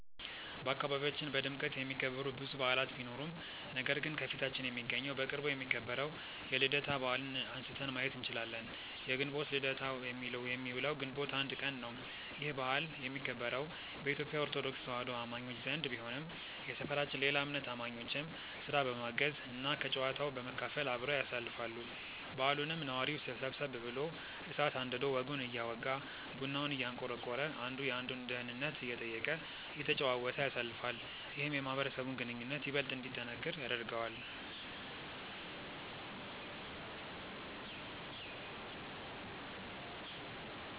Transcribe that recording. በአካባቢያችን በድምቀት የሚከበሩ ብዙ በዓላት ቢኖሩም ነገር ግን ከፊታችን የሚገኘው በቅርቡ የሚከበረው የልደታ በዓልን አንስተን ማየት እንችላለን። የግንቦት ልደታ የሚውለው ግንቦት 1 ቀን ነው። ይህ በዓል የሚከበረው በኢትዮጲያ ኦርቶዶክስ ተዋህዶ አማኞች ዘንድ ቢሆንም የሰፈራችን ሌላ እምነት አማኞችም ስራ በማገዝ እና ከጨዋታው በመካፈል አብረው ያሳልፋሉ። በዓሉንም ነዋሪው ሰብሰብ ብሎ እሳት አንድዶ ወጉን እያወጋ፤ ቡናውን እያንቆረቆረ፤ አንዱ የአንዱን ደህንነት እየጠየቀ፤ እየተጨዋወተ ያሳልፋል። ይህም የማህበረሰቡን ግንኙነት ይበልጥ እንዲጠነክር ያደርገዋል።